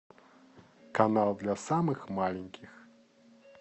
канал для самых маленьких